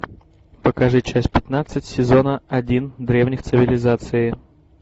покажи часть пятнадцать сезона один древних цивилизаций